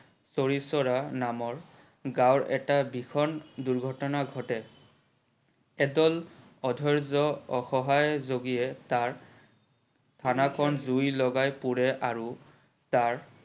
চৰি চৰা নামৰ গাও এটা ভিষন দূৰ্ঘটনা ঘটে, এদল অধৈজ্য অসহায় যোগীয়ে তাৰ থানা খন জুই লগাই পুৰে আৰু তাৰ